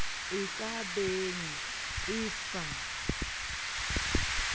e ka beng e sa